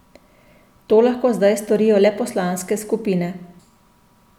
To lahko zdaj storijo le poslanske skupine.